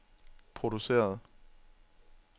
produceret